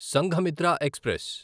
Sanghamitra express